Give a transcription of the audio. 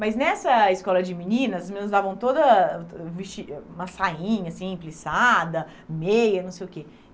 Mas nessa escola de meninas, as meninas usavam toda uma sainha assim, pliçada, meia, não sei o quê.